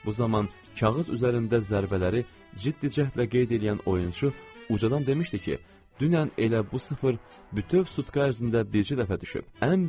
Bu zaman kağız üzərində zərbələri ciddi cəhdlə qeyd eləyən oyunçu ucadan demişdi ki, dünən elə bu sıfır bütöv sutka ərzində bircə dəfə düşüb.